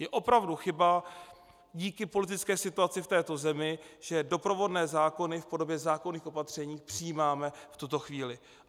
Je opravdu chyba díky politické situaci v této zemi, že doprovodné zákony v podobě zákonných opatření přijímáme v tuto chvíli.